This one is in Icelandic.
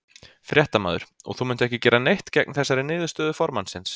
Fréttamaður: Og þú munt ekki gera neitt gegn þessari niðurstöðu formannsins?